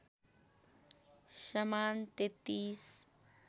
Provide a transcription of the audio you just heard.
समान ३३